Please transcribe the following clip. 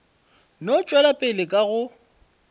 no tšwela pele ka go